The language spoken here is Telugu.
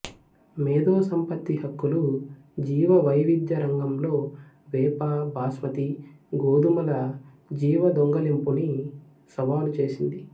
మేధో సంపత్తి హక్కులు జీవవైవిధ్య రంగంలో వేప బాస్మతి గోధుమల జీవ దొంగలింపుని సవాలు చేసింది